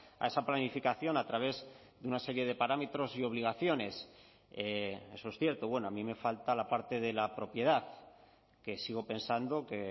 a esa planificación a través de una serie de parámetros y obligaciones eso es cierto bueno a mí me falta la parte de la propiedad que sigo pensando que